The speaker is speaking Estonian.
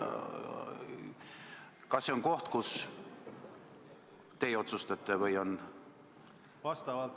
Kas see on koht, kus teie otsustate?